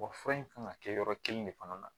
fura in kan ka kɛ yɔrɔ kelen de fana na